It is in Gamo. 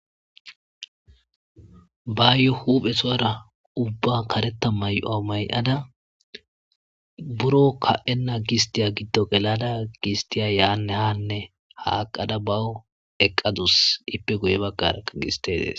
Bayo huphesora uba kareta may7uwa may7ada buro ka7enna gisttiya giddo gelada gisttiya yaanne haanne haaqqada bawu eqqadus; ippe guye baggarakka gistte dees.